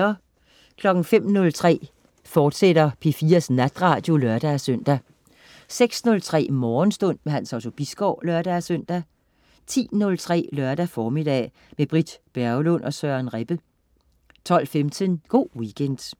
05.03 P4 Natradio, fortsat (lør-søn) 06.03 Morgenstund. Hans Otto Bisgaard (lør-søn) 10.03 Lørdag formiddag. Med Britt Berglund og Søren Rebbe 12.15 Go' Weekend